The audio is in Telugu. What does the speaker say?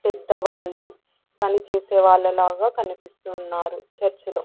పెద్దవాళ్లు పనిచేసే వాళ్ళు లాగా కనిపిస్తున్నారు చర్చ్ లో .